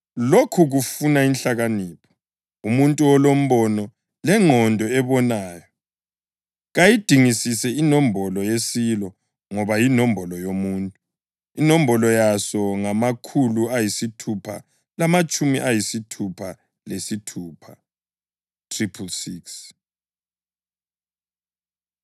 Lokhu kufuna inhlakanipho. Umuntu olombono lengqondo ebonayo, kayidingisise inombolo yesilo ngoba yinombolo yomuntu. Inombolo yaso ngamakhulu ayisithupha lamatshumi ayisithupha lesithupha (666).